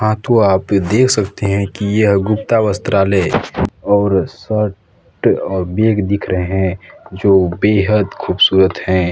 हाँ तो आप ये देख सकते हैं की ये गुप्ता वस्त्रालय और शर्ट और बैग दिख रहे है जो बेहद खूबसूरत हैं।